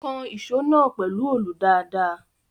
Kan ìṣó náà pẹ̀lú olù dáadáa.